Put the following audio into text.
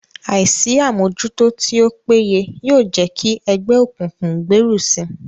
Àìsí àmójútó tí ó péye yóò jẹ́ kí ẹgbẹ́ òkùnkùn gbèrú si